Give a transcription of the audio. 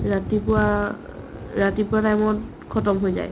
ৰাতিপুৱা অ ৰাতিপুৱা time ত khatam হৈ যায় ।